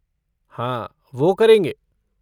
हाँ वो करेंगे।